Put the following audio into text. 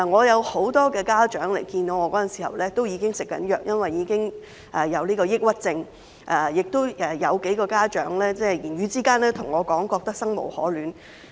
有很多家長跟我會面時表示已經要接受藥物治療，因為已經患上抑鬱症，亦有幾個家長在言語之間對我說覺得生無可戀。